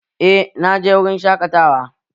Eh, naje wurin shaƙatawa